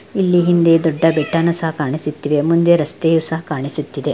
ಇಲ್ಲಿ ಹಿಂದೆ ದೊಡ್ಡ ಬೆಟ್ಟನು ಸಹ ಕಾಣಿಸುತ್ತಿದೆ ಮುಂದೆ ರಸ್ತೆಯು ಸಹ ಕಾಣಿಸುತಿದೆ .